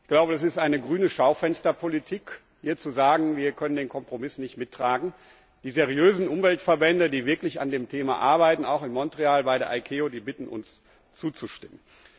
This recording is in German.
Ich glaube, das ist eine grüne Schaufensterpolitik, hier zu sagen, wir können den Kompromiss nicht mittragen. Die seriösen Umweltverbände, die wirklich an dem Thema arbeiten auch in Montreal bei der ICAO die bitten uns, zuzustimmen.